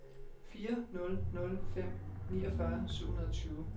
fire nul nul fem niogfyrre syv hundrede og tyve